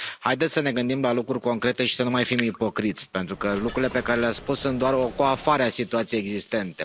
Haideți să ne gândim la lucruri concrete și să nu mai fim ipocriți, pentru că lucrurile pe care le ați spus sunt doar o coafare a situației existente.